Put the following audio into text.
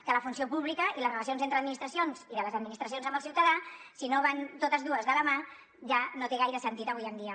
que la funció pública i les relacions entre administracions i de les administracions amb el ciutadà si no van totes dues de la mà ja no té gaire sentit avui dia